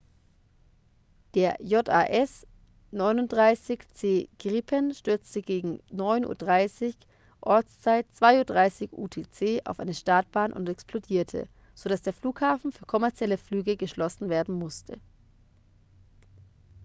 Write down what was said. der jas 39c gripen stürzte gegen 9:30 uhr ortszeit 02:30 utc auf eine startbahn und explodierte sodass der flughafen für kommerzielle flüge geschlossen werden musste